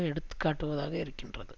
எடுத்து காட்டுவதாக இருக்கின்றது